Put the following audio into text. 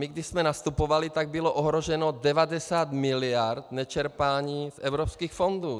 My když jsme nastupovali, tak bylo ohroženo 90 mld. nečerpání evropských fondů.